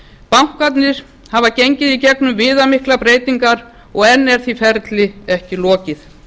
bankarnir hafa gengið í gegnum viðamiklar breytingar og enn er því ferli ekki lokið